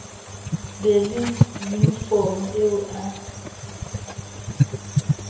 be le yunifomo eo a